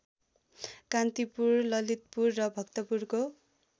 कान्तिपुर ललितपुर र भक्तपुरको